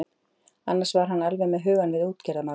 Annars var hann alveg með hugann við útgerðarmálin.